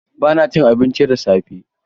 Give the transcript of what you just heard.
Ba na cin cincin da safe.